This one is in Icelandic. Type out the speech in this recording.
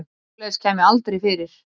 Svoleiðis kæmi aldrei fyrir.